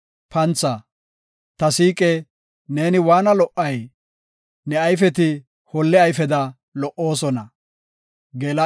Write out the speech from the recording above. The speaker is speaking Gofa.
Ta siiqe, neeni waana lo77ay! Neeni waana lo77ay! Ne ayfeti holle ayfeda lo77oosona.